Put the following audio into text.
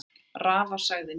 Rafa sagði nei.